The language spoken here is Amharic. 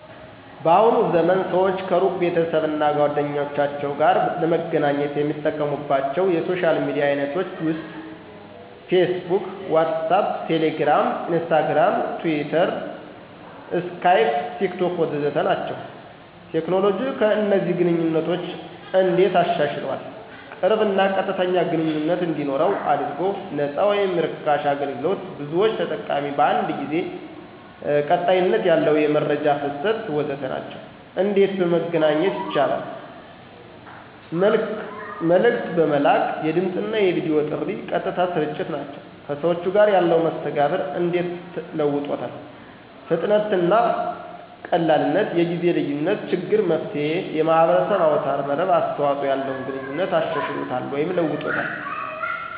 በአሁኑ ዘመን ሰዎች ከሩቅ ቤተሰብ እና ጓደኞቸው ጋር ለመገናኘት የሚጠቀሙባቻው የሶሻል ሚዲያ አይነቶች ውስጥ፦ ፌስቡክ፣ ዋትሳአፕ፣ ቴሌግራም፣ ኢንስታግርም፣ ትዊተር፣ ስካይፕ፣ ቴክቶክ... ወዘተ ናቸው። ቴክኖሎጂ ከእነዚህን ግንኘነቶች እንዴት አሻሻሏል? ቅርብ እና ቀጥተኛ ግንኝነት እንዲኖረው አድርጎል፣ ነፃ ወይም ራካሽ አገልግሎት፣ ብዙዎች ተጠቃሚዎች በአንድ ጊዜ፣ ቀጣይነት ያለው የመረጃ ፍሰት... ወዘተ ናቸው። እንዴት በመገናኛት ይቻላል? መልክት በመላክ፣ የድምፅና የቪዲዮ ጥሪ፣ ቀጥታ ስርጭት ናቸው። ከሰዎቹ ጋር ያለው መስተጋብር እንዴት ለውጦታል ? ፍጥነትና ቀላልነት፣ የጊዜ ልዪነት ችግር መፍትሔ፣ የማህበረሰብ አውታር መረብ አስተዋጽኦ ያለውን ግንኙነት አሻሽሎታል ወይም ለውጦታል።